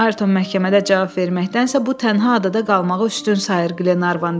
Ayrton məhkəmədə cavab verməkdənsə bu tənha adada qalmağı üstün sayır, Qlenarvan dedi.